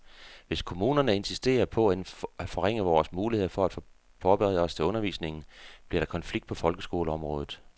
Hvis kommunerne insisterer på at forringe vores mulighed for at forberede os til undervisningen, bliver der konflikt på folkeskoleområdet.